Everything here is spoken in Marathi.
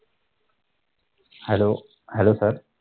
hello hello sir